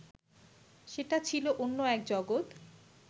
সেটা ছিল অন্য এক জগৎ